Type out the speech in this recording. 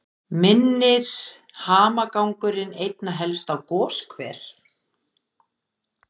Minnir hamagangurinn einna helst á goshver